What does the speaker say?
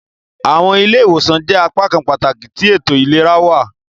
Awọn ile-iwosan jẹ apakan pataki ti eto ilera.